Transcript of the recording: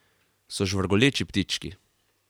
So žvrgoleči ptički.